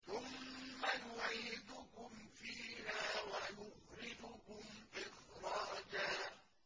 ثُمَّ يُعِيدُكُمْ فِيهَا وَيُخْرِجُكُمْ إِخْرَاجًا